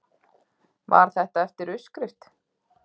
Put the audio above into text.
Var þetta eftir uppskrift?